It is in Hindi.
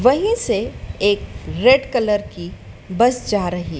वहीं से एक रेड कलर की बस जा रही--